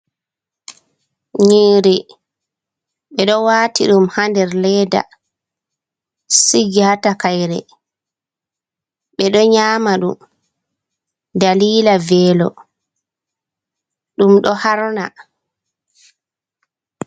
Nyiri bedo wati ɗum ha nder ledda, sigi ha takayre, ɓeɗo nyama ɗum dalila velo ɗum ɗo harna.